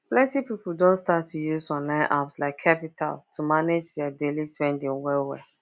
plenty people don start to use online apps like qapital to manage their daily spending well well